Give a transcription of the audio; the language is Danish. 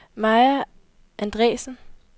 Maja Andresen